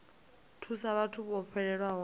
thusa vhathu vho fhelelwaho nga